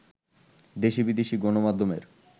দেশি-বিদেশি গণমাধ্যমের